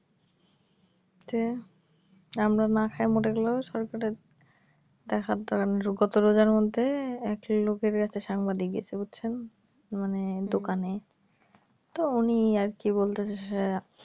হচ্ছে আমরা না খায়ে মরে গেলেও সরকারের দেখার দরকার নাই গত রোজার মধ্যে একটা লোকের কাছে সাংবাদিক গেছে বুঝছেন মানে দোকানে তো উনি আর কি বলতে চাইছে যে